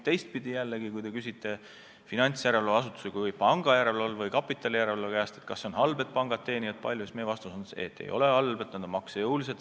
Teistpidi jällegi, kui te küsite finantsjärelevalve või pangajärelevalve või kapitalijärelevalve käest, kas see on halb, et pangad teenivad palju, siis meie vastus on: ei ole halb, et nad on maksejõulised.